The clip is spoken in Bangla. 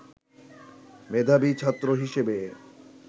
মেধাবী ছাত্র হিসেবে